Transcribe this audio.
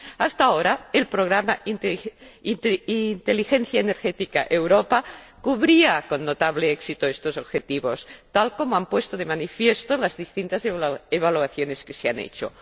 Hasta ahora, el programa Energía inteligente Europa cubría con notable éxito estos objetivos, tal como han puesto de manifiesto las distintas evaluaciones que se han hecho